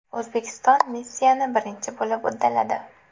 O‘zbekiston missiyani birinchi bo‘lib uddaladi.